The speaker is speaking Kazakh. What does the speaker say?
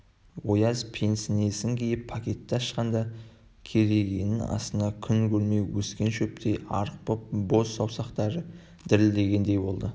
ояз пенснесін киіп пакетті ашқанда керегенің астында күн көрмей өскен шөптей арық боп-боз саусақтары дірілдегендей болды